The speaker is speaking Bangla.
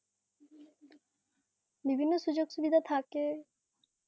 হম হম বিভিন্ন সুযোগ সুবিধা থাকে.